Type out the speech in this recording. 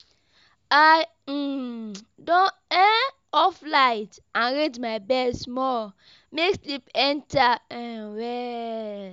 I um don um off light, arrange my bed small, make sleep enter um well.